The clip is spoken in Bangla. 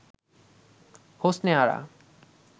হোসনে আরা